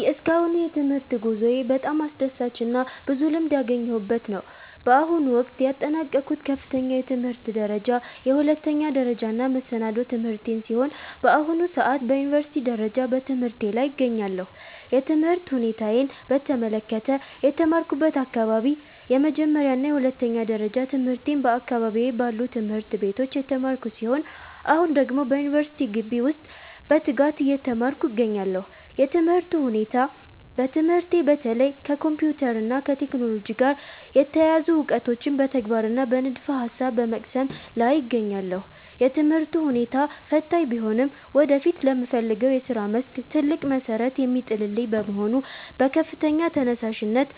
የእስካሁኑ የትምህርት ጉዞዬ በጣም አስደሳችና ብዙ ልምድ ያገኘሁበት ነው። በአሁኑ ወቅት ያጠናቀቅኩት ከፍተኛ የትምህርት ደረጃ የሁለተኛ ደረጃና መሰናዶ ትምህርቴን ሲሆን፣ በአሁኑ ሰዓት በዩኒቨርሲቲ ደረጃ በትምህርቴ ላይ እገኛለሁ። የትምህርት ሁኔታዬን በተመለከተ፦ የተማርኩበት አካባቢ፦ የመጀመሪያና የሁለተኛ ደረጃ ትምህርቴን በአካባቢዬ ባሉ ትምህርት ቤቶች የተማርኩ ሲሆን፣ አሁን ደግሞ በዩኒቨርሲቲ ግቢ ውስጥ በትጋት እየተማርኩ እገኛለሁ። የትምህርቱ ሁኔታ፦ በትምህርቴ በተለይ ከኮምፒውተር እና ከቴክኖሎጂ ጋር የተያያዙ እውቀቶችን በተግባርና በንድፈ-ሐሳብ በመቅሰም ላይ እገኛለሁ። የትምህርቱ ሁኔታ ፈታኝ ቢሆንም ወደፊት ለምፈልገው የሥራ መስክ ትልቅ መሠረት የሚጥልልኝ በመሆኑ በከፍተኛ ተነሳሽነት